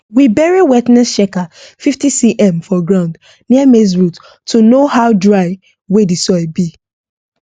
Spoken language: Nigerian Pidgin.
we bury wetness checker 15cm for ground near maize root to know how dry wey the soil be